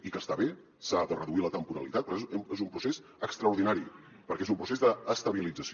i que està bé s’ha de reduir la temporalitat però és un procés extraordinari perquè és un procés d’estabilització